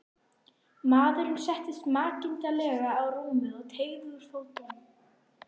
Maðurinn settist makindalega á rúmið og teygði úr fótunum.